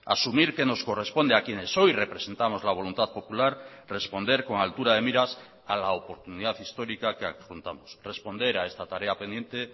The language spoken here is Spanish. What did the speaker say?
asumir que nos corresponde a quienes hoy representamos la voluntad popular responder con altura de miras a la oportunidad histórica que adjuntamos responder a esta tarea pendiente